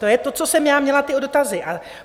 To je to, co jsem já měla, ty dotazy.